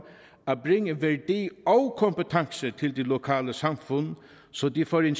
at bringe værdi og kompetence til de lokale samfund så de får en